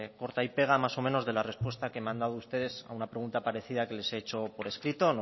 corta y pega más o menos de la respuesta que me han dado ustedes a una pregunta parecida que les he hecho por escrito